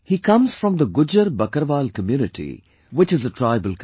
He comes from the Gujjar Bakarwal community which is a tribal community